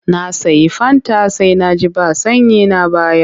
Na sayi fanta sai na ji ba sanyi na bayar.